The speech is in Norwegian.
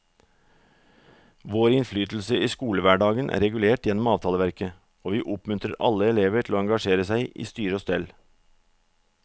Vår innflytelse i skolehverdagen er regulert gjennom avtaleverket, og vi oppmuntrer alle elever til å engasjere seg i styre og stell.